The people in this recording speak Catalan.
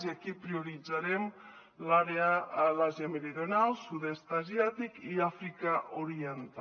i aquí prioritzarem l’àrea de l’àsia meridional sud est asiàtic i àfrica oriental